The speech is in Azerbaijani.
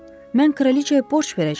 Mən kraliçaya borc verəcəm?